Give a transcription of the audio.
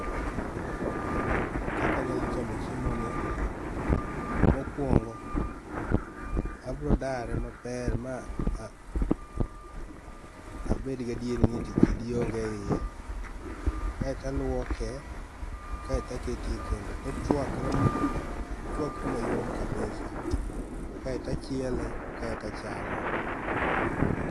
Kaka anyalo chamo chiemo ni. Mokuongo, abiro dare maber ma a abed gi adieri ni eti kidi onge e iye. Kaeto a luoke, kaeto a kete e kendo, tochuakre mo ochuakre mayom kabisa. Kaeto achiele, kaeto achame.